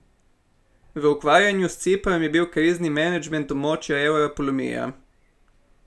V ukvarjanju s Ciprom je bil krizni menedžment območja evra polomija.